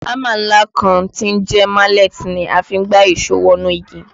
Hámà ńlá kan tí ń jẹ́ mallet ni a fi ń gbá ìṣó wọnú igi